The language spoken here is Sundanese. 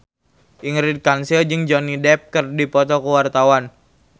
Ingrid Kansil jeung Johnny Depp keur dipoto ku wartawan